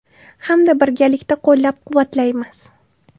Hamda birgalikda qo‘llab-quvvatlaymiz.